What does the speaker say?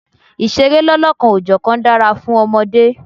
Ìṣeré lọ́lọ́kan-ò-jọ̀kan dára fún ọmọdé.